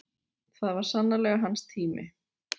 Það var sannarlega hans tími.